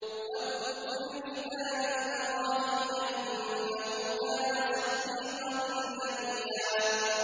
وَاذْكُرْ فِي الْكِتَابِ إِبْرَاهِيمَ ۚ إِنَّهُ كَانَ صِدِّيقًا نَّبِيًّا